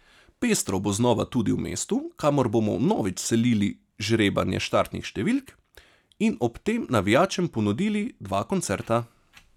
Pestro bo znova tudi v mestu, kamor bomo vnovič selili žrebanje štartnih številk in ob tem navijačem ponudili dva koncerta.